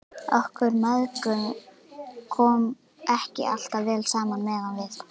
Okkur mæðgum kom ekki alltaf vel saman meðan við